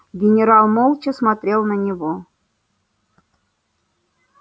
генерал молча смотрел на него